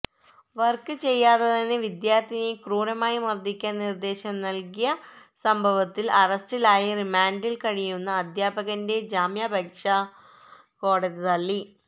work ചെയ്യാത്തതിന് വിദ്യാർത്ഥിനിയെ ക്രൂരമായി മർദ്ദിക്കാൻ നിർദ്ദേശം നൽകിയ സംഭവത്തിൽ അറസ്റ്റിലായി റിമാൻഡിൽ കഴിയുന്ന അധ്യാപകന്റെ ജാമ്യാപേക്ഷ കോടതി തള്ളി